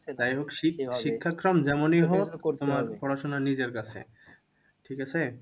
যাই হোক শিক্ষা~ শিক্ষাক্রম যেমনি হোক তোমার পড়াশোনা নিজের কাছে, ঠিকাছে?